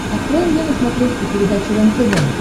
открой мне на смотрешке передачу рентв